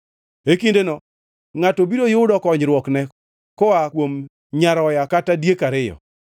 E kindeno ngʼato biro yudo konyruokne koa kuom nyaroya kod diek ariyo.